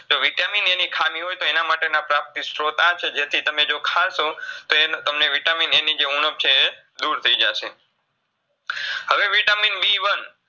તો Vitamin A ની ખામી છે તો એનામાટેના પ્રાપ્તિ સ્ત્રોત આ છે જેથી તમે જો ખાસો તો એન્ તમને Vitamin A ની જે ઉણબ છે એ દૂર થઈજાશે VitaminBone